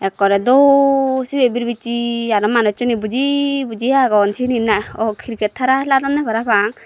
ekkore do sibi birbijsi aro manuj sune buji buji agon sinit na o criket hara hiladonne para pang.